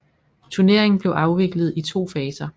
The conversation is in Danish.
Turneringen blev afviklet i to faser